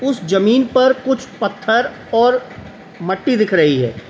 उस जमीन पर कुछ पत्थर और मट्टी दिख रही है।